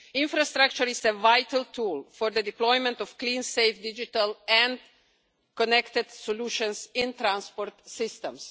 Infrastructure is a vital tool for the deployment of clean, safe, digital and connected solutions in transport systems.